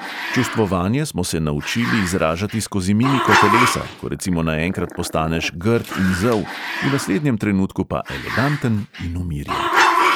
Čustvovanje smo se naučili izražati skozi mimiko telesa, ko recimo naenkrat postaneš grd in zel, v naslednjem trenutku pa eleganten in umirjen.